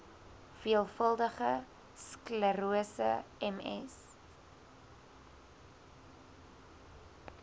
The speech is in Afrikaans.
veelvuldige sklerose ms